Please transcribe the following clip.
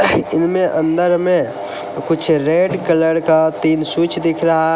अंदर में कुछ रेड कलर का तीन स्विच दिख रहा--